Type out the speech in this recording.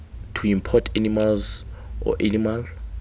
to import animals or animal